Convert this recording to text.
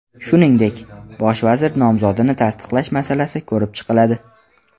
Shuningdek, bosh vazir nomzodini tasdiqlash masalasi ko‘rib chiqiladi.